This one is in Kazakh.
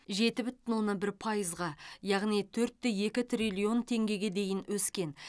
жеті бүтін оннан бір пайызға яғни төрт те екі триллион теңгеге дейін өскен